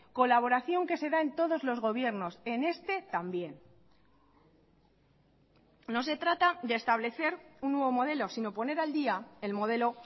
colaboración que se da en todos los gobiernos en este también no se trata de establecer un nuevo modelo sino poner al día el modelo